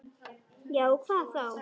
Já, hvað þá?